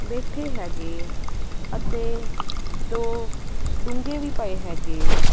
ਬੈਠੇ ਹੈਗੇ ਅਤੇ ਦੋ ਡੂੰਘੇ ਵੀ ਪਏ ਰੱਖੇ।